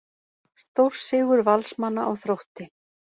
Stórsigur Valsmanna á Þrótti